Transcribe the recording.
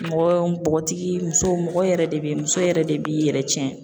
Mɔgɔ bɔgɔtigi muso mɔgɔ yɛrɛ de bɛ muso yɛrɛ de b'i yɛrɛ tiɲɛ